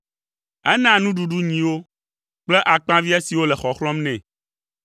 Enaa nuɖuɖu nyiwo kple akpaviã siwo le xɔxlɔ̃m nɛ.